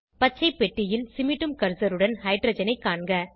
பச்சைப்பெட்டியில் சிமிட்டும் கர்சருடன் ஹைட்ரஜனை காண்க